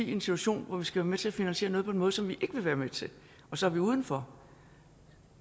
situation hvor vi skal være med til at finansiere noget på en måde som vi vil være med til og så er vi uden for